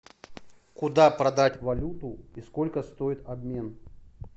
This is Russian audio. куда продать валюту и сколько стоит обмен